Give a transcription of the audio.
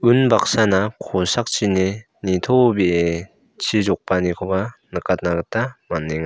unbaksana kosakchini nitobee chi jokbaanikoba nikatna gita man·enga.